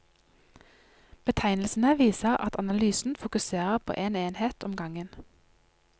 Betegnelsene viser at analysen fokuserer på en enhet om gangen.